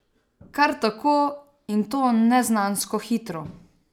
Kar tako, in to neznansko hitro.